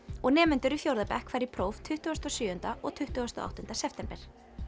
og nemendur í fjórða bekk fara í próf tuttugasta og sjöunda og tuttugasta og áttunda september